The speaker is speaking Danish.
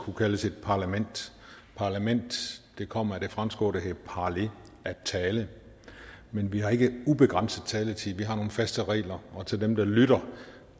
kunne kaldes et parlament parlament kommer af det franske ord parler at tale men vi har ikke ubegrænset taletid vi har nogle faste regler og til dem der lytter